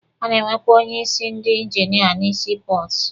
A na-enwekwa onye isi ndi injinia na sii pọọtụ.